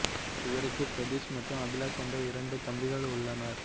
இவருக்கு பிரதீஷ் மற்றும் அபிலாஷ் என்ற இரண்டு தம்பிகள் உள்ளனர்